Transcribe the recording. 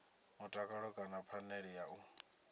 mutakalo kana phanele ya u